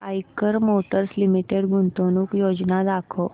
Eicher motors limited गुंतवणूक योजना दाखव